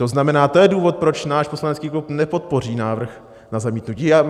To znamená: to je důvod, proč náš poslanecký klub nepodpoří návrh na zamítnutí.